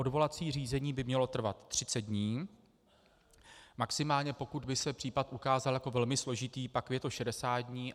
Odvolací řízení by mělo trvat 30 dní, maximálně, pokud by se případ ukázal jako velmi složitý, pak je to 60 dní.